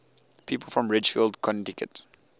people from ridgefield connecticut